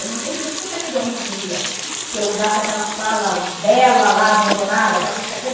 Eu não entendia por que que aquele homem não queria que eu usasse aquela sala bela lá, abandonada